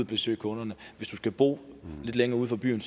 besøge kunderne hvis du skal bo lidt længere uden for byerne